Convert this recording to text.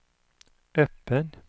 öppen